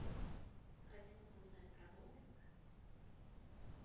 хотелось бы узнать про боулинг